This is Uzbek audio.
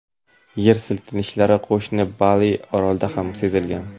Yer silkinishlari qo‘shni Bali orolida ham sezilgan.